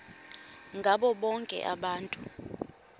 ngabo bonke abantu